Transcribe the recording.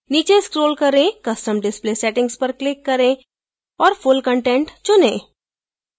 नीचे scroll करें custom display settings पर click करें और full content चुनें